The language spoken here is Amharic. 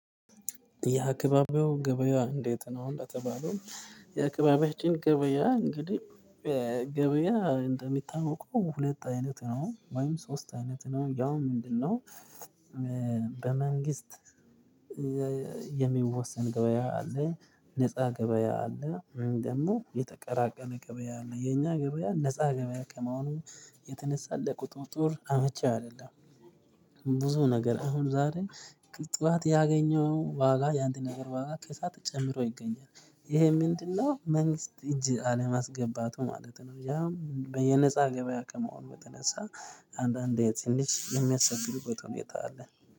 የአካባቢው ገበያ እንዴት ነው አሁን በተባለው የአካባቢያችን ገበያ እንግዲህ ገበያ እንደሚታወቀው ሁለት አይነት ነው ወይም ሶስት አይነት ነው ያው ምንድነው በመንግስት የሚወሰን ገበያ አለ ነፃ ገበያ አለ ወይም ደግሞ የተቀራቀረ ገበያ አለ የኛ ገበያ ነፃ ገበያ ከመሆኑ የተነሳ ለቁጥጥር አመቺ አይደለም። ብዙ ነገር አሁን ዛሬ ቅ ጠዋት ያገኘህው ዋጋ የአንድ ነገር ዋጋ ከሰአት ጨምሮ ይገኛል ይሄ ምንድነው መንግስት እጅ አለማስገባቱ ማለት ነው ያ በየነፃ ገበያ ከመሆኑ በተነሳ አንዳንዴ ትንሽ የሚያስቸግርበት ሁነታ አለ።